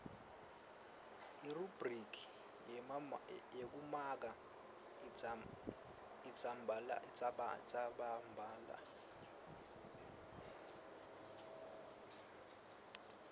irubhriki yekumaka indzabambhalo